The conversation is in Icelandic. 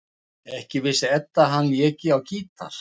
Ekki vissi Edda að hann léki á gítar.